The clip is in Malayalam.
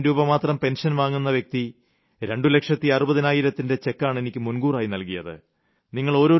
16000 രൂപ മാത്രം പെൻഷൻ വാങ്ങുന്ന വ്യക്തി രണ്ടുലക്ഷത്തി അറുപതിനായിരത്തിന്റെ ചെക്കാണ് എനിക്ക് മുൻകൂറായി നൽകിയത്